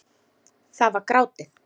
Það var grátið!